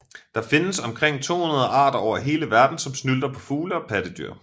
Der findes omkring 200 arter over hele verden som snylter på fugle og pattedyr